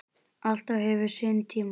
Allt hefur sinn tíma